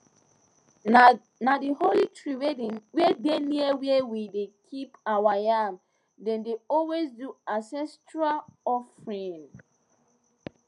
na the holy tree wey dey near where we dey keep our yam dem dey always do ancestral offering